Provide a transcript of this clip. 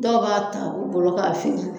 Dɔw b'a ta u bolo k'a feere